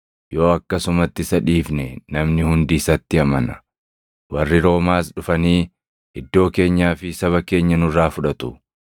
Yoo akkasumatti isa dhiifne namni hundi isatti amana; warri Roomaas dhufanii iddoo keenyaa fi saba keenya nurraa fudhatu.”